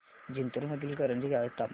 जिंतूर मधील करंजी गावाचे तापमान